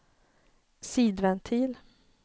sidventil